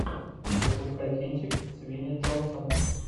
запускай кинчик с винни джонсом